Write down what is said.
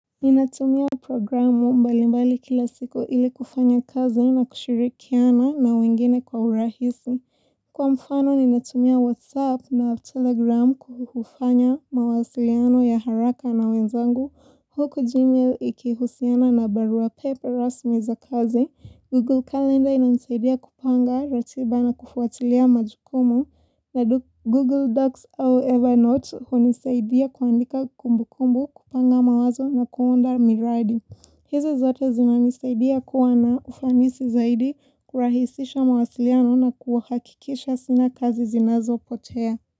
Ninatumia programu mbalimbali kila siku ili kufanya kazi na kushirikiana na wengine kwa urahisi. Kwa mfano ninatumia WhatsApp na Telegram kufanya mawasiliano ya haraka na wenzangu. Huku gmail ikihusiana na barua pepe rasmi za kazi. Google Calendar ina nisaidia kupanga ratiba na kufuatilia majukumu. Na Google Docs au Evernote hunisaidia kuandika kumbu kumbu kupanga mawazo na kuunda miradi. Hizi zote zina nisaidia kuwa na ufanisi zaidi kurahisisha mawasiliano na kuhakikisha sina kazi zinazo potea.